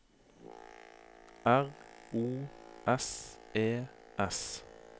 R O S E S